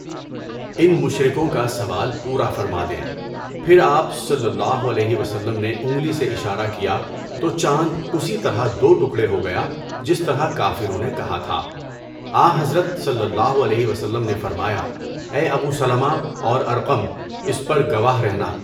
ان مشرکوں کا سوال پورا فرما دیں۔ پھر آپ صلی اللہ علیہ وسلم نے انگلی سے اشارہ کیا تو چاند اسی طرح دو ٹکڑے ہو گیا جس طرح کافروں نے کہا تھا۔ آنحضرت صلی اللہ علیہ وسلم نے فرمایا، اے ابو سَلَمَہ اور ارقم، اس پر گواہ رہنا۔